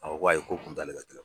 A ko ko ayi ko o kun t'ale ka